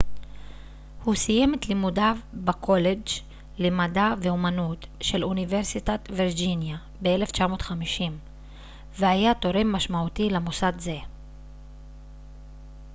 הוא סיים את לימודיו בקולג' למדע ואמנות של אוניברסיטת וירג'יניה ב-1950 והיה תורם משמעותי למוסד זה